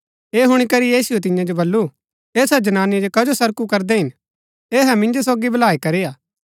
ऐह हुणी करी यीशुऐ तिन्या जो बल्लू ऐसा जनानी जो कजो सरकु करदै हिन ऐहै मिन्जो सोगी भलाई करी हा